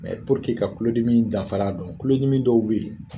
Mɛ puruke ka kulodimi danfara don kulodimi dɔw be ye